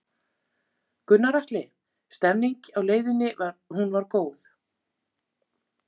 Gunnar Atli: Stemningin á leiðinni, hún var góð?